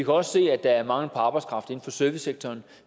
også se at der er mangel på arbejdskraft inden for servicesektoren